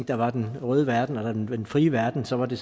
der var den røde verden og den frie verden så var det